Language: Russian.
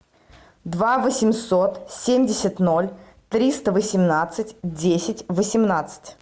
два восемьсот семьдесят ноль триста восемнадцать десять восемнадцать